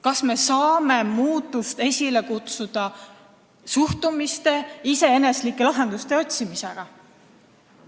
Kas me saame muutust esile kutsuda suhtumist muutes, iseeneslike lahenduste otsimistega?